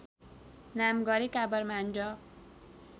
नाम गरेका ब्राह्मण